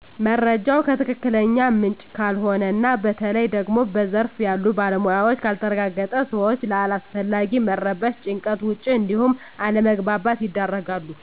መረጃው ከትክክለኛ ምንጭ ካልሆነ እና በተለይ ደግሞ በዘርፉ ያሉ ባለሞያዎች ካልተረጋገጠ ሰወች ለአላስፈላጊ መረበሽ፣ ጭንቀት፣ ወጭ እንዲሁም አለመግባባት ይዳረጋሉ።